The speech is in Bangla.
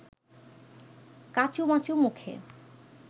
কাঁচুমাচু মুখে